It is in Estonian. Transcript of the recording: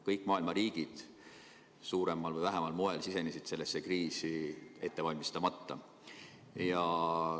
Kõik maailma riigid sisenesid sellesse kriisi suuremal või vähemal määral ettevalmistamatult.